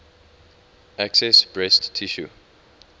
excess breast tissue